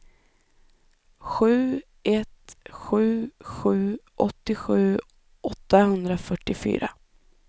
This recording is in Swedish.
sju ett sju sju åttiosju åttahundrafyrtiofyra